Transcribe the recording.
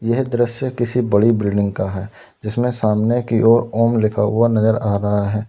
यह दृश्य किसी बड़ी बिल्डिंग का है जिसमे सामने की ओर ओम लिखा हुआ नजर आ रहा है।